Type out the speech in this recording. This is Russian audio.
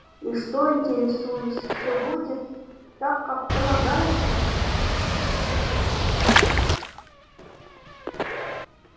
и что интересуюсь всё будет так как полагается